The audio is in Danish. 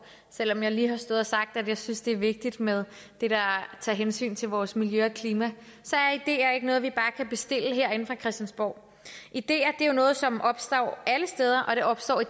selv om jeg lige har stået og sagt at jeg synes det er vigtigt med det der tager hensyn til vores miljø og klima det er ikke noget vi bare kan bestille herinde på christiansborg ideer er jo noget som opstår alle steder og de opstår i